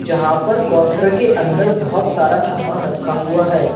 जहां पर काउंटर के अंदर बहोत सारा सामान रखा हुआ है।